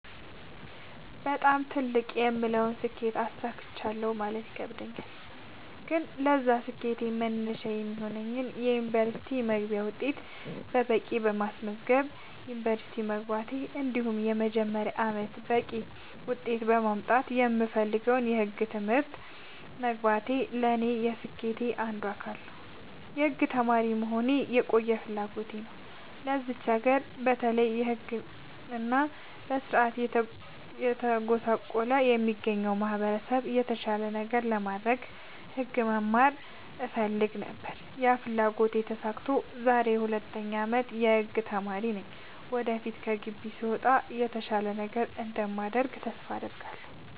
በጣም ትልቅ የምለውን ስኬት አሳክቻለሁ ማለት ይከብደኛል። ግን ለዛ ስኬት መነሻ የሚሆነኝን የ ዩኒቨርስቲ መግቢያ ውጤት በቂ በማስመዝገብ ዩንቨርስቲ መግባቴ እንዲሁም የመጀመሪያ አመቴን በቂ ውጤት በማምጣት የምፈልገውን የህግ ትምህርት መግባቴ ለኔ የስኬቴ አንዱ አካል ነው። የህግ ተማሪ መሆን የቆየ ፍላጎቴ ነው ለዚች ሀገር በተለይ በህግ እና በስርዓቱ እየተጎሳቆለ ለሚገኘው ማህበረሰብ የተሻለ ነገር ለማድረግ ህግ መማር እፈልግ ነበር ያ ፍላጎቴ ተሳክቶ ዛሬ የ 2ኛ አመት የህግ ተማሪ ነኝ ወደፊት ከግቢ ስወጣ የተሻለ ነገር እንደማደርግ ተስፋ አድርጋለሁ።